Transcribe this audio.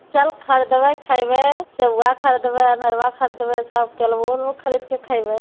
चल ख़रीदबे खइबे सेब बा खरीदवे अनरवा ख़रीदबे सब केल्वो खरीद के खइवो --